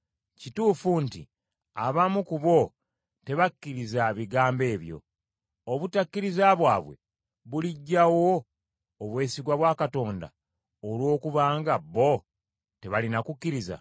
Kituufu nti abamu ku bo tebakkiriza bigambo ebyo. Obutakkiriza bwabwe buliggyawo obwesigwa bwa Katonda, olw’okuba nga bo tebaalina kukkiriza?